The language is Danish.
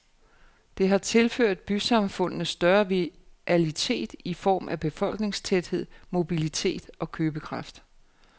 Det har tilført bysamfundene større vitalitet i form af befolkningstæthed, mobilitet og købekraft.